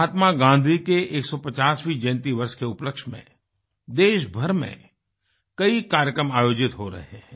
महात्मा गांधी के 150वें जयन्ती वर्ष के उपलक्ष्य में देशभर में कई कार्यक्रम आयोजित हो रहे हैं